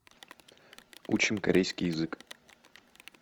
учим корейский язык